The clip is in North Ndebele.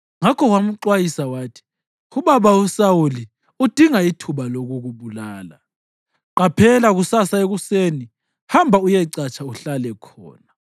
ngakho wamxwayisa wathi, “Ubaba uSawuli udinga ithuba lokukubulala. Qaphela kusasa ekuseni; hamba uyecatsha uhlale khona.